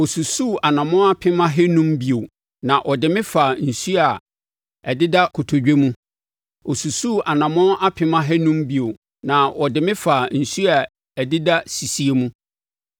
Ɔsusuu anammɔn apem ahanum (500,000) bio na ɔde me faa nsuo a ɛdeda kotodwe mu. Ɔsusuu anammɔn apem ahanum (500,000) bio na ɔde me faa nsuo a ɛdeda sisie mu.